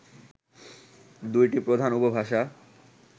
দুইটি প্রধান উপভাষা